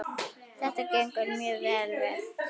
Þetta gengur mjög vel hérna.